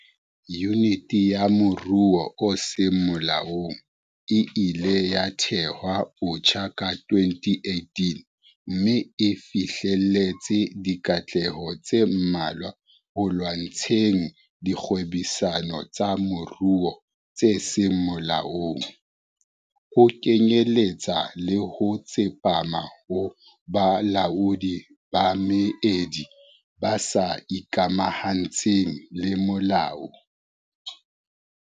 Yuniti ya Moruo o Seng Molaong e ileng ya thehwa botjha ka 2018 mme e fihleletse dikatleho tse mmalwa ho lwantsheng dikgwebisano tsa moruo tse seng molaong, ho kenyeletsa le ho tsepama ho bolaodi ba meedi bo sa ikamahantsheng le molao.